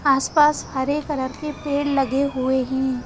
आसपास हरे कलर के पेड़ लगे हुए हैं।